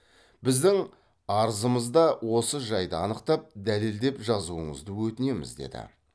біздің арызымызда осы жайды анықтап дәлелдеп жазуыңызды өтінеміз деді